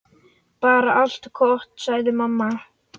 Bara allt gott, sagði mamma.